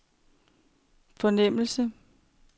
fornemmelse